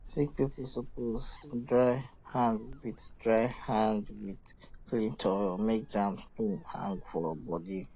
sick people suppose dry hand with dry hand with um clean towel make germs no hang for body um